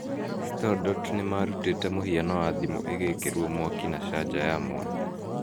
StoreDot nĩmarutĩte mũhiano na thimũ ĩgĩkĩrwo mwaki na canja ya mwanya